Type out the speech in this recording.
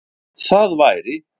Það væri